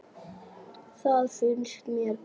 Það fannst mér gott.